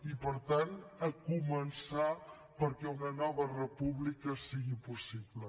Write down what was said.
i per tant començar perquè una nova república sigui possible